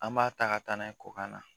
An b'a ta ka taa n'a ye kɔkan na